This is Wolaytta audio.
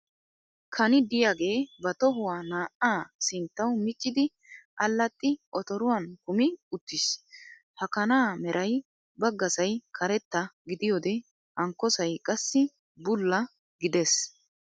Kani diyagee ba tohuwa naa"aa sinttawu miccidi allaxxi otoruwan kumi uttiis. Ha kanaa Meray baggasay karetta gidiyoode hankkosay qassi bulla gides.